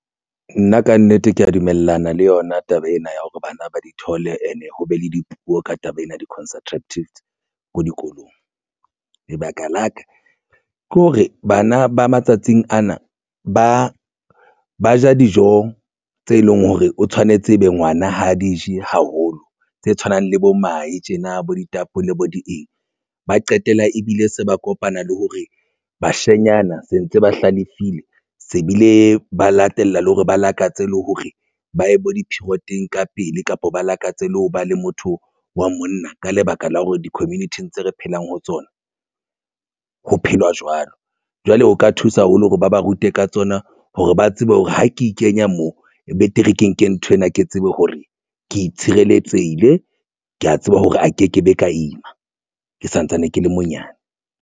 Nna kannete ke ya dumellana le yona taba ena ya hore bana ba di thole and e ho be le dipuo ka taba ena ya di-contraceptives ko dikolong lebaka la ka ke hore bana ba matsatsing ana ba ja dijong tse leng hore o tshwanetse ebe ngwana ha di je haholo. Tse tshwanang le bo mahe tjena bo ditapole bo di eng. Ba qetella ebile se ba kopana le hore bashanyana se ntse ba hlalefile se bile ba latella le hore ba lakatse le hore ba ye bo di-period-eng ka pele kapa ba lakatse le ho ba le motho wa monna ka lebaka la hore di community-ing tse re phelang ho tsona, ho phelwa jwalo. Jwale ho ka thusa le hore ba ba rute ka tsona hore ba tsebe hore ha ke ikenya moo betere ke nke nthwena, ke tsebe hore ke tshireletsehile ke ya tseba hore a ke ke be ka ima ke santsane ke le monyane.